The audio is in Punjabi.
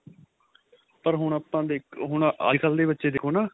ਪਰ ਹੁਣ ਆਪਾਂ ਦੇਖੋ ਹੁਣ ਅੱਜਕਲ ਦੇ ਬੱਚੇ ਦੇਖੋ ਨਾ